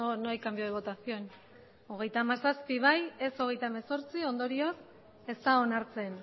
no hay cambio de votación ondorioz ez da onartzen